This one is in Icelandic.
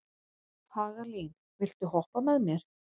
Hagalín, viltu hoppa með mér?